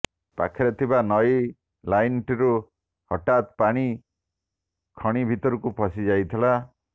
ପାଖରେ ଥିବା ନଈ ଲାଇଟିନ୍ରୁ ହଠାତ୍ ପାଣି ଖଣି ଭିତରେ ପଶି ଯାଇଥିଲା